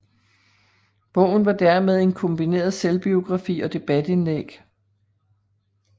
Bogen var dermed en kombineret selvbiografi og debatindlæg